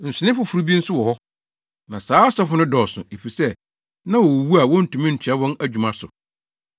Nsonoe foforo bi nso wɔ hɔ. Na saa asɔfo no dɔɔso, efisɛ na wowuwu a wontumi ntoa wɔn adwuma so.